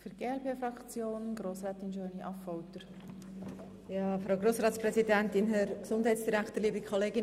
Ich möchte ans Votum von Andrea De Meuron anschliessen.